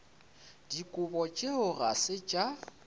dikobo tšeo ga se tša